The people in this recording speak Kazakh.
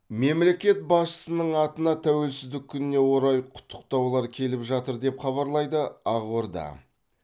мемлекет басшысының атына тәуелсіздік күніне орай құттықтаулар келіп жатыр деп хабарлайды ақорда